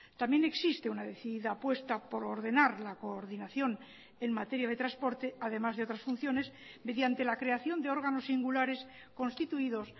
también existe una decidida apuesta por ordenar la coordinación en materia de transporte además de otras funciones mediante la creación de órganos singulares constituidos